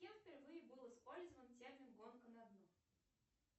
кем впервые был использован термин гонка на дно